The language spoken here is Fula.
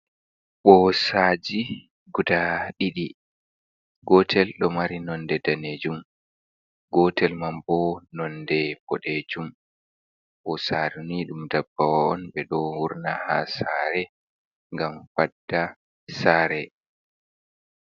Boosaji guda ɗiɗi. gotel do mari nonde danejum gotel man bo nonde bodejum. Bosaruni dum dabbawon be do wurna ha sare ngam fadda sare.